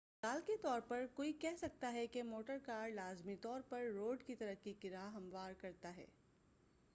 مثال کے طور پر کوئی کہہ سکتا ہے کہ موٹر کار لازمی طور پر روڈ کی ترقی کی راہ ہموار کرتا ہے